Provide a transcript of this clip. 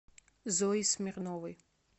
зои смирновой